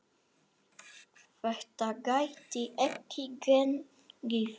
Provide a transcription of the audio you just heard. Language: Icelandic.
Þetta gæti ekki gengið.